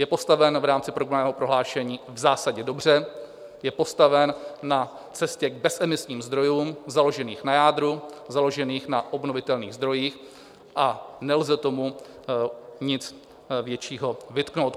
Je postaven v rámci programového prohlášení v zásadě dobře, je postaven na cestě k bezemisním zdrojům založených na jádru, založeným na obnovitelných zdrojích, a nelze tomu nic většího vytknout.